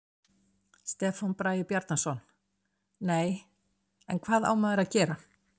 Stefán Bragi Bjarnason: Nei, en hvað á maður að gera?